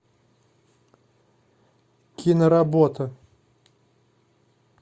киноработа